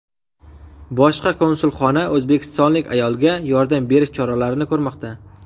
Bosh konsulxona o‘zbekistonlik ayolga yordam berish choralarini ko‘rmoqda.